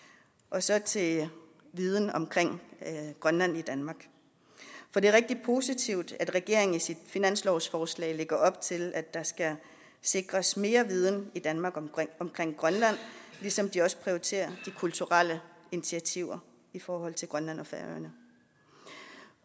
så til viden om grønland i danmark det er rigtig positivt at regeringen i sit finanslovsforslag lægger op til at der skal sikres mere viden i danmark om grønland ligesom de også prioriterer de kulturelle initiativer i forhold til grønland og færøerne